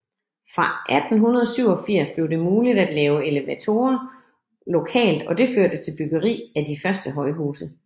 Fra 1887 blev det muligt at lave elevatorer lokalt og det førte til byggeri af de første højhuse